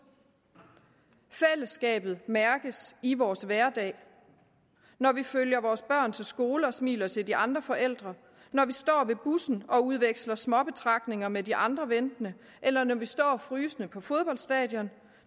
fællesskabet mærkes i vores hverdag når vi følger vores børn til skole og smiler til de andre forældre når vi står ved bussen og udveksler småbetragtninger med de andre ventende eller når vi står frysende på fodboldstadion